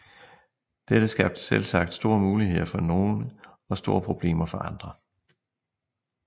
Dette skabte selvsagt store muligheder for nogle og store problemer for andre